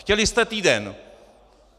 Chtěli jste týden.